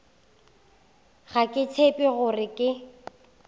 ga ke tshepe gore ke